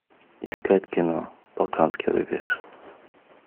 искать кино балканский рубеж